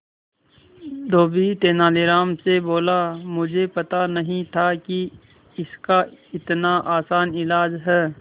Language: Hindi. धोबी तेनालीराम से बोला मुझे पता नहीं था कि इसका इतना आसान इलाज है